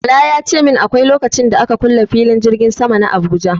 Bala ya ce min akwai lokacin da aka kule filin jirgin sama na Abuja.